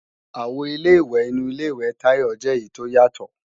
Àwo Ilé-ìwẹ̀ inu Ilé-ìwẹ̀ Tayọ jẹ́ èyí tó yàtọ̀